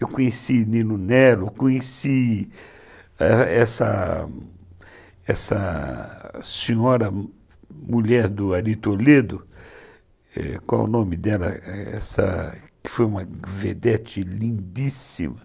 Eu conheci Nino Nero, conheci essa senhora, mulher do Ari Toledo, qual o nome dela, que foi uma vedete lindíssima.